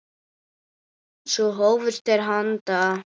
Svo hófust þeir handa.